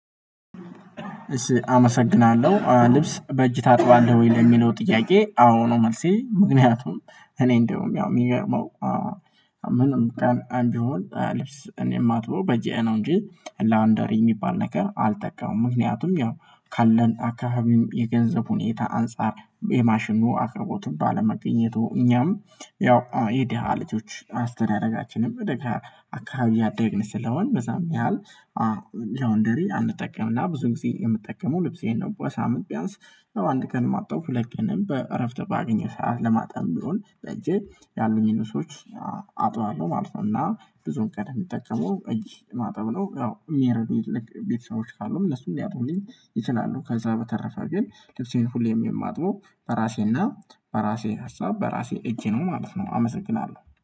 አመሰግናለሁ ልብስ በእጅ ታጥባለህ ወይ? ለሚለው ጥያቄ አዎ ነው። መልሴ ምክንያቱም እኔ እንደውም ያው የሚገርመው ምንም ቢሆን እኔ የማትበው በጄ ነው እንጂ ላውንደሪ የሚባል ነገር አልጠቀመም። ምክንያቱም ያው ካለን አካባቢም የገንዘብ ሁኔታ አንፃር የማሽኑ አቅርቦትን ባለመገኘቱ እኛም ያው የድሃ ልጆች አስተዳደጋችንም ደሃ አካባቢ ያደግን ስለሆን በዛም ያህል። ላውንደሪ አንጠቀምና ብዙ ጊዜ የምጠቀመው ልብሴን ነው በሳምንት ቢያንስ አንድ ቀንም አጠብሁ ሁለት ቀንም በእረፍት ባገኘሁ ሰዓት ለማጠብም ቢሆን በእጄ ያሉኝን ሰዎች አጥባለሁ ማለት ነው። እና ብዙም ቀን እምጠቀመው እጅ ማጠብ ነው። ያው እሚረዱ የትልቅ ቤተሰቦች ካሉም ሊያጥቡልኝ ይችላሉ። ከዛ በተረፈ ግን ልብሴን ሁሌም የማጥበው በራሴና በራሴ ሀሳብ በራሴ እጄ ነው ማለት ነው። አመሰግናለሁ